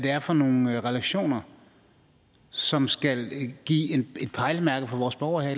er for nogle relationer som skal give et pejlemærke for vores borgere her